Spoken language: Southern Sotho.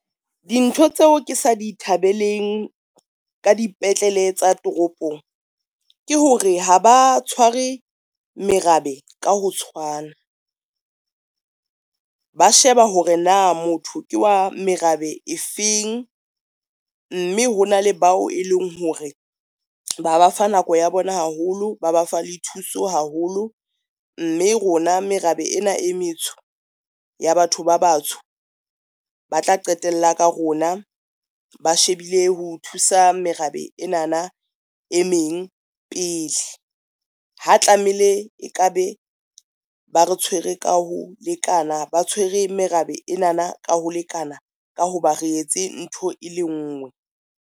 Dintho tseo ke sa di thabeleng ka dipetlele tsa toropong, ke hore ha ba tshware merabe ka ho tshwana. Ba sheba hore na motho ke wa merabe e feng, mme hona le bao e leng hore ba ba fa nako ya bona haholo, ba ba fa le thuso haholo, mme rona merabe ena e metsho ya batho ba batsho, ba tla qetella ka rona, ba shebile ho thusa merabe ena na e meng pele. Ha tlameile e ka be ba re tshwere ka ho lekana, ba tshwere merabe ena na ka ho lekana ka ho ba re etse ntho e le ngwe.